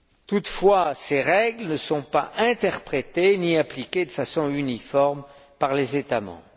Toutefois, ces règles ne sont pas interprétées ni appliquées de façon uniforme par les États membres.